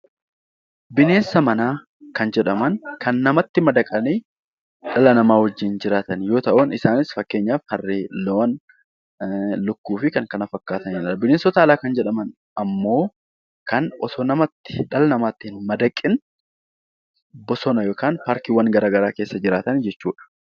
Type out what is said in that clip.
Bineensa manaa kan jedhaman kan namatti madaqanii dhala namaa wajjin jiraatan yoo ta'u, isaanis fakkeenyaaf harree, loon, akkasumas lukkuu fi kan kana fakkaatanidha. Bineensota alaa gaafa jedhaman immoo osoo dhala namatti hin madaqiin bosona yookiin paarkiiwwan garaagaraa keessa jiraatan jechuudha.